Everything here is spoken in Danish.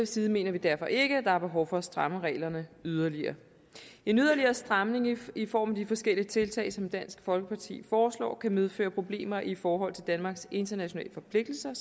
side mener vi derfor ikke at der er behov for at stramme reglerne yderligere en yderligere stramning i i form af de forskellige tiltag som dansk folkeparti foreslår kan medføre problemer i forhold til danmarks internationale forpligtelser